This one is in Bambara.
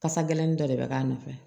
Kasa gɛlɛnin dɔ de bɛ k'a nɔfɛ